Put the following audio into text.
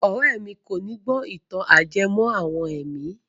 Ọ̀rẹ́ mi kòní gbó ìtàn ajẹmọ́ àwọn ẹ̀mí.